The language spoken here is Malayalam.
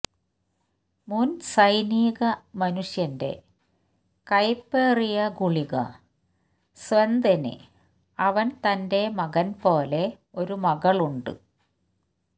ഒരു മുൻ സൈനിക മനുഷ്യന്റെ കയ്പേറിയ ഗുളിക സ്വെഎതെന് അവൻ തന്റെ മകൻ പോലെ ഒരു മകൾ ഉണ്ട്